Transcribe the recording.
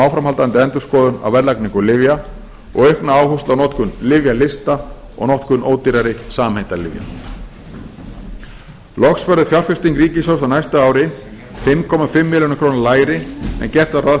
áframhaldandi endurskoðun á verðlagningu lyfja og aukna áherslu á notkun lyfjalista og notkun ódýrari samheitalyfja loks verður fjárfesting ríkissjóðs á næsta ári fimm komma fimm milljörðum króna lægri en gert var ráð